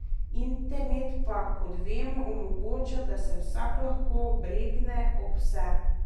Internet pa, kot vemo, omogoča, da se vsak lahko obregne ob vse.